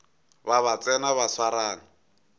ba ba tsena ba swarane